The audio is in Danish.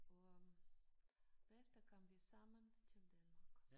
Og bagefter kom vi sammen til Danmark